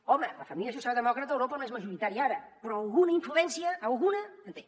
home la família socialdemòcrata a europa no és majoritària ara però alguna influència alguna en té